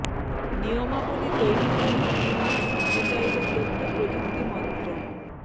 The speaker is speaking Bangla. নিয়মাবলী তৈরির জন্য তিন মাস সময় চাইল তথ্য প্রযুক্তি মন্ত্রক